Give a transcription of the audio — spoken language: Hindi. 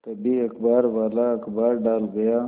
तभी अखबारवाला अखबार डाल गया